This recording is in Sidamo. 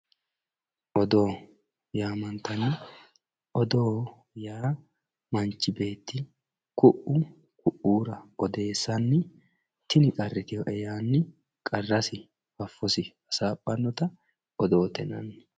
Odoo yaamantano, odoo yaa manchi beetti ku"u koira odeessani tini qarritinoe yaanni qarrasi fafosi hasaaphanotta odoote yinanni.